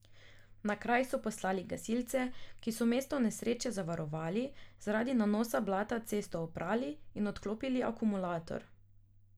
Na kraj so poslali gasilce, ki so mesto nesreče zavarovali, zaradi nanosa blata cesto oprali in odklopili akumulator.